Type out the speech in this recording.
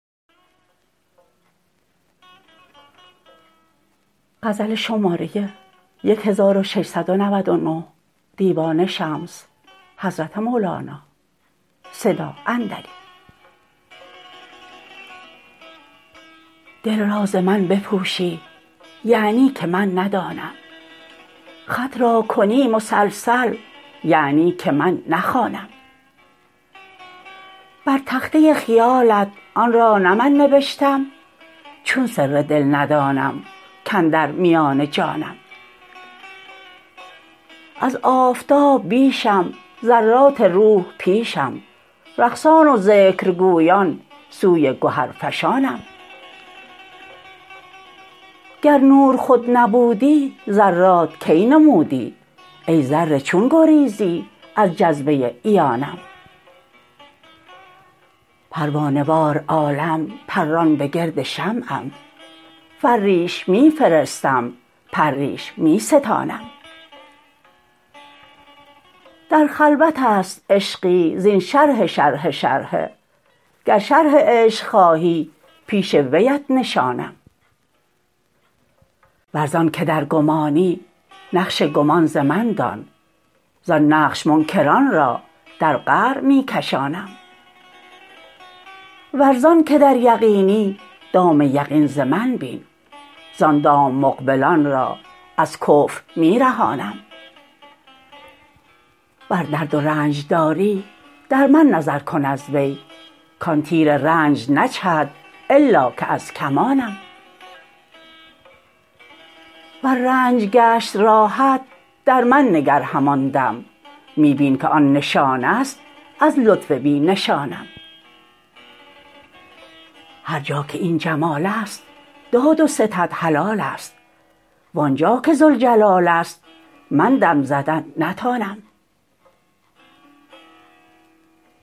دل را ز من بپوشی یعنی که من ندانم خط را کنی مسلسل یعنی که من نخوانم بر تخته خیالات آن را نه من نبشتم چون سر دل ندانم کاندر میان جانم از آفتاب بیشم ذرات روح پیشم رقصان و ذکرگویان سوی گهرفشانم گر نور خود نبودی ذرات کی نمودی ای ذره چون گریزی از جذبه عیانم پروانه وار عالم پران به گرد شمعم فریش می فرستم پریش می ستانم در خلوت است عشقی زین شرح شرحه شرحه گر شرح عشق خواهی پیش ویت نشانم ور زان که در گمانی نقش گمان ز من دان زان نقش منکران را در قعر می کشانم ور زان که در یقینی دام یقین ز من بین زان دام مقبلان را از کفر می رهانم ور درد و رنج داری در من نظر کن از وی کان تیر رنج نجهد الا که از کمانم ور رنج گشت راحت در من نگر همان دم می بین که آن نشانه ست از لطف بی نشانم هر جا که این جمال است داد و ستد حلال است وان جا که ذوالجلال است من دم زدن نتانم